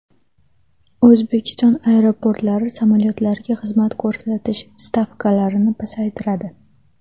O‘zbekiston aeroportlari samolyotlarga xizmat ko‘rsatish stavkalarini pasaytiradi.